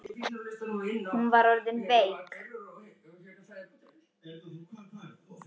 Hún var orðin veik.